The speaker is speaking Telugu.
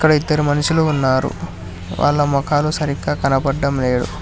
అక్కడ ఇద్దరు మనుషులు ఉన్నారు వాళ్ళ మొఖాలు సరిగ్గా కనపడ్డం లేదు.